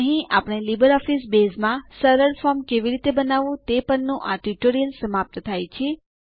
અહીં આપણે લીબરઓફીસ બેઝમાં સરળ ફોર્મ કેવી રીતે બનાવવું તે પરનું આ ટ્યુટોરીયલ સમાપ્ત થાય છે